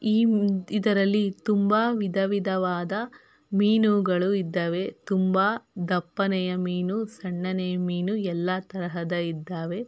ಈ ಇದರಲ್ಲಿ ತುಂಬ ವಿಧ ವಿಧವಾದ ಮೀನುಗಳು ಇದ್ದಾವೆ ತುಂಬ ದಪ್ಪನೆಯ ಮೀನು ಸಣ್ಣನೆಯ ಮೀನು ಎಲ್ಲ ತರಹದ ಇದ್ದಾವೆ.